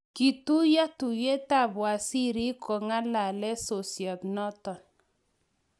katuyio tuyietab wazirik ku ng'alale sosiet noto